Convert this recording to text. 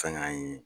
Fɛn y'an ye